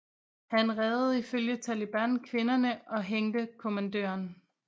Han reddede ifølge Taliban kvinderne og hængte kommandøren